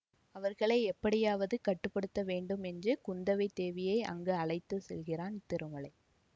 அவர்களை எப்படியாவது கட்டு படுத்த வேண்டும் என்று குந்தவை தேவியை அங்கு அழைத்து செல்கிறான் திருமலை